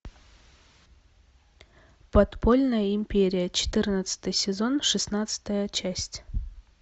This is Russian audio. подпольная империя четырнадцатый сезон шестнадцатая часть